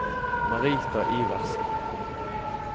Marita Iversen